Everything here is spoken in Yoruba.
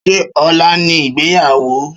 Ṣé ọlá ni ìgbéyàwó?